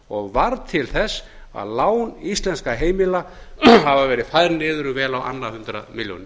og varð til þess að lán íslenskra heimila hafa verið færð niður vel á annað hundrað milljónir